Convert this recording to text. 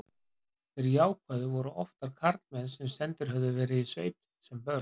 Þeir jákvæðu voru oftar karlmenn sem sendir höfðu verið í sveit sem börn.